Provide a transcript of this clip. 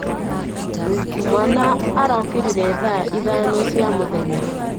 Mwaana arokĩrire thaa ithano cia mũthenya.